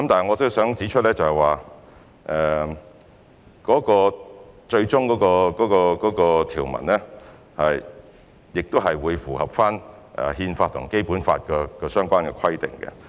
我想指出，最終的條文會符合《憲法》及《基本法》相關的規定。